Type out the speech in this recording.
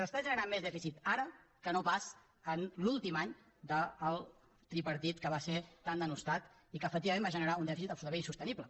s’està generant més dèficit ara que no pas en l’últim any del tripartit que va ser tan denostat i que efectivament va generar un dèficit absolutament insostenible